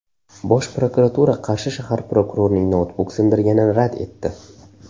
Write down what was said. Bosh prokuratura Qarshi shahar prokurorining noutbuk sindirganini rad etdi.